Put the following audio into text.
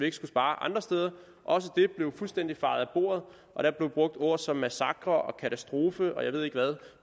ikke skulle spare andre steder også det blev fuldstændig fejet af bordet og der blev brugt ord som massakre og katastrofe og jeg ved ikke hvad